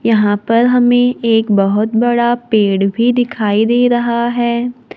यहां पर हमें एक बहोत बड़ा पेड़ भी दिखाई दे रहा है।